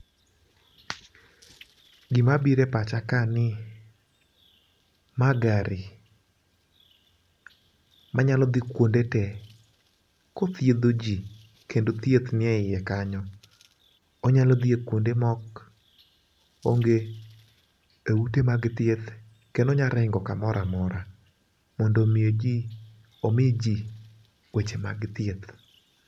Gima bire pacha ka ni maa gari manyalo dhi kuonde tee kothiedho jii kendo thieth ni e iye kanyo. Onyal dhi e kuonde mok ma onge ute mag thieth kendo onya ringo kamoramora mondo omi jii omii jii weche mag thieth.